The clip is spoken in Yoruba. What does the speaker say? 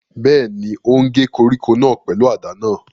Bẹ́ẹ̀ni, ó ń gé koríko náà pẹ̀lú àdá náà